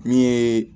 Min ye